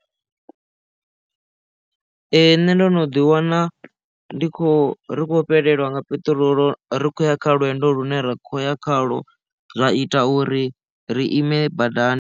Nṋe ndo no ḓi wana ndi khou ri khou fhelelwa nga peṱirolo rikhoya kha lwendo lune ra kho ya khalo zwa ita uri ri ime badani.